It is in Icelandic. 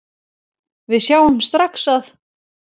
Við sjáum strax að